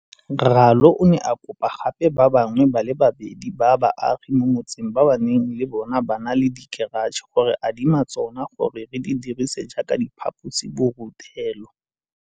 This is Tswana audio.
Ralo o ne a kopa gape ba bangwe ba le babedi ba baagi mo motseng ba ba neng le bona ba na le dikeratšhe go re adima tsona gore re di dirise jaaka diphaposiburutelo.